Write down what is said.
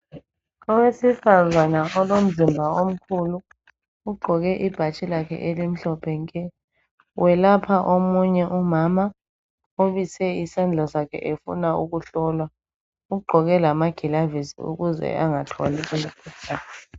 Owesifazana olomzimba omkhulu ugqoke ibhatshi lakhe elimhlophe nke, welapha omunye umama obise isandla sakhe efuna ukuhlolwa ugqoke lamagilavisi ukuze angatholi umkhuhlane.